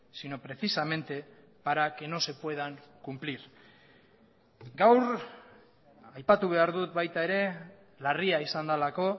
sino precisamente para que no se puedan cumplir gaur aipatu behar dut baita ere larria izan delako